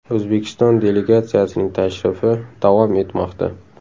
O‘zbekiston delegatsiyasining tashrifi davom etmoqda.